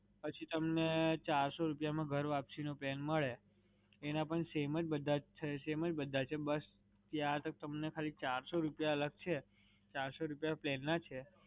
પછી તમને ચારસો રૂપિયા માં ઘરવાપસી નો plan મળે, એના પણ સેમ જ બધા છે, સેમ જ બધા છે. બસ ત્યાં તમને ખાલી ચારસો રૂપિયા અલગ છે. ચારસો રૂપિયા plan ના છે.